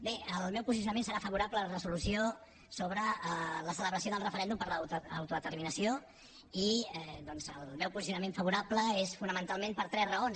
bé el meu posicionament serà favorable a la resolució sobre la celebració del referèndum per a l’autodeterminació i el meu posicionament favorable és fonamentalment per tres raons